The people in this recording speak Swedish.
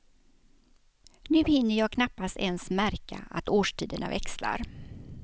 Nu hinner jag knappast ens märka att årstiderna växlar.